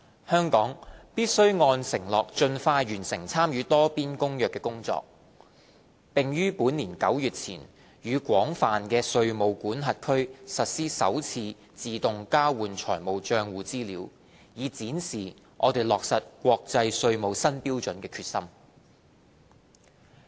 香港必須按承諾盡快完成參與《多邊公約》的工作，並於本年9月前與廣泛的稅務管轄區實施首次自動交換資料，以展示我們落實國際稅務新標準的決心。